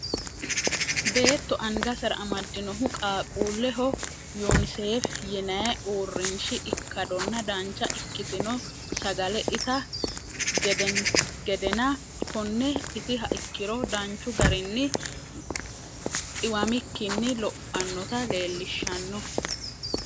beetto angasera amaddinohu qaaqqulleho yunisef yinay uurinshi ikkadonna dancha ikkitinno sagale itaa gedenna konne itiha ikkiro danchu garinni xiwamikinni lophanota leellishshanno.